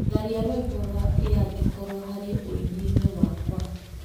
Tharia rwimbo rwa ĩangĩkorwo harĩ ũininĩ wakwa.